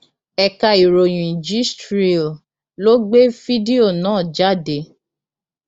ẹka ìròyìn gistréel ló gbé fídíò náà jáde